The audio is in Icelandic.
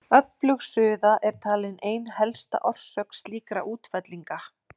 Öflug suða er talin ein helsta orsök slíkra útfellinga.